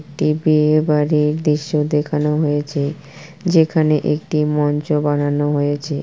TB এবারের দৃশ্য দেখানো হয়েছে যেখানে একটি মঞ্চও বানানো হয়েছে।